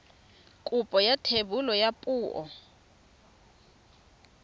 kopo ya thebolo ya poo